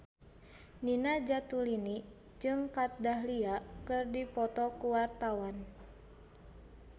Nina Zatulini jeung Kat Dahlia keur dipoto ku wartawan